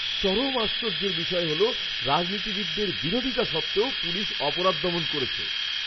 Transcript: চরম আশ্চর্যের বিষয় হল, রাজনীতিবিদদের বিরোধিতা সত্ত্বেও পুলিশ অপরাধ দমন করেছে!